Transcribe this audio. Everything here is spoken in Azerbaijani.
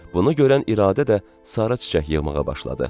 Bunu görən İradə də sarı çiçək yığmağa başladı.